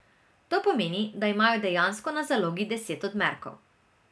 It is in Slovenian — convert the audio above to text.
To pomeni, da imajo dejansko na zalogi deset odmerkov.